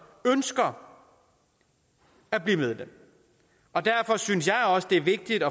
ønsker at blive medlem og derfor synes jeg også det er vigtigt